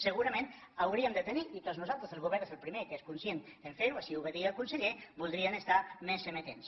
segurament hauríem de tenir i tots nosaltres el govern és el primer que és conscient a fer ho això ho va dir el conseller voldríem estar més amatents